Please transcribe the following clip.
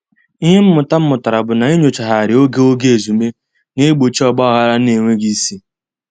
Ihe mmụta m mụtara bụ na inyochaghari oge oge ezumee na-egbochi ogbaghara n'enweghị isi.